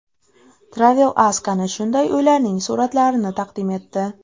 TravelAsk ana shunday uylarning suratlarini taqdim etdi .